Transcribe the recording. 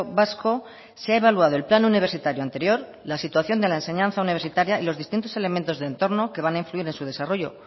vasco se ha evaluado el plan universitario anterior la situación de la enseñanza universitaria y los distintos elementos de entorno que van a influir en su desarrollo